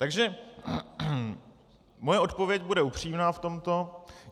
Takže moje odpověď bude upřímná v tomto.